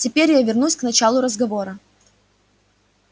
теперь я вернусь к началу разговора